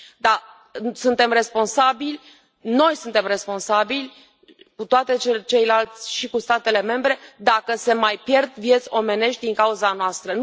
Da, suntem responsabili, noi suntem responsabili cu toții și cu statele membre dacă se mai pierd vieți omenești din cauza noastră.